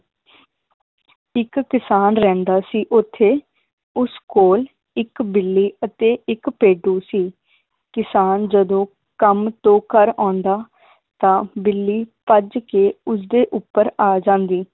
ਇਕ ਕਿਸਾਨ ਰਹਿੰਦਾ ਸੀ ਓਥੇ ਉਸ ਕੋਲ ਇੱਕ ਬਿੱਲੀ ਅਤੇ ਇੱਕ ਭੇਡੂ ਸੀ ਕਿਸਾਨ ਜਦੋਂ ਕੰਮ ਤੋਂ ਘਰ ਆਉਂਦਾ ਤਾਂ ਬਿੱਲੀ ਭੱਜ ਕੇ ਉਸ ਦੇ ਉੱਪਰ ਆ ਜਾਂਦੀ